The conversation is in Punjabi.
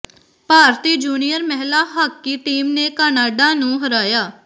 ਭਾਰਤੀ ਜੂਨੀਅਰ ਮਹਿਲਾ ਹਾਕੀ ਟੀਮ ਨੇ ਕਨਾਡਾ ਨੂੰ ਹਰਾਇਆ